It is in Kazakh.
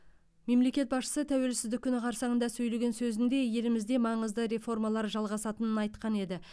мемлекет басшысы тәуелсіздік күні қарсаңында сөйлеген сөзінде елімізде маңызды реформалар жалғасатынын айтқан еді